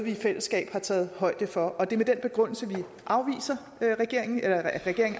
i fællesskab har taget højde for det er med den begrundelse at regeringen